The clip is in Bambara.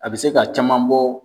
A bɛ se ka caman bɔ